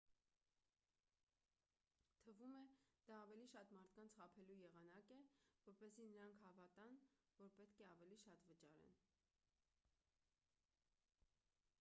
թվում է դա ավելի շատ մարդկանց խաբելու եղանակ է որպեսզի նրանք հավատան որ պետք է ավելի շատ վճարեն